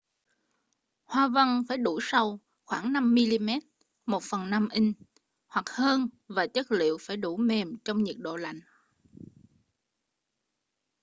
hoa văn phải đủ sâu khoảng 5mm 1/5 inch hoặc hơn và chất liệu phải đủ mềm trong nhiệt độ lạnh